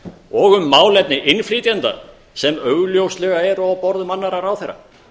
og um málefni innflytjenda sem augljóslega eru á borðum annarra ráðherra